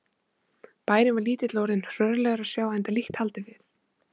Bærinn var lítill og orðinn hrörlegur að sjá enda lítt haldið við.